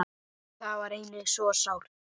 Það er einnig svo sárt.